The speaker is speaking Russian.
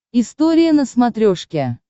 история на смотрешке